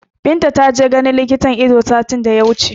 Binta ta je ganin likitan Ido satin da ya wuce